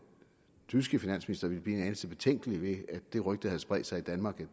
tyske finansminister ville blive en anelse betænkelig ved at det rygte havde spredt sig i danmark